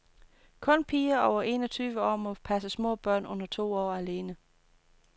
Kun piger over en og tyve år må passe små børn under to år alene.